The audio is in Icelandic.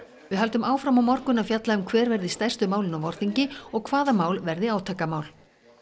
við höldum áfram á morgun að fjalla um hver verði stærstu málin á vorþingi og hvaða mál verði átakamál